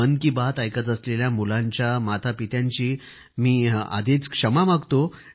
मन की बात ऐकत असलेल्या मुलांच्या मातापित्यांची मी आधीच क्षमा मागतो